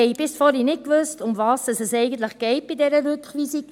Wir haben bis vorhin nicht gewusst, worum es eigentlich bei dieser Rückweisung geht.